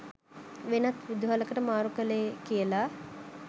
වෙනත් විදුහලකට මාරු කළේ කියලා?